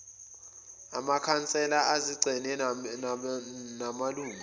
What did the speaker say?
amakhansela ezigceme namalungu